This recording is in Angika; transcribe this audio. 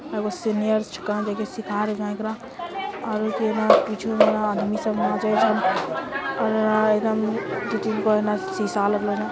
आ वो सीनियर कहा देखि सिखा आदमी सब नचित हई अ एने दू तीन गो एकदम सीसा लागलो हे ।